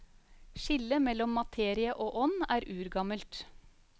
Skillet mellom materie og ånd er urgammelt.